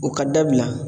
O ka dabila